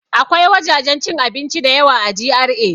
Akwai wajajen cin abinci da yawa a GRA